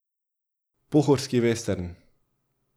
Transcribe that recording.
Pohorski vestern.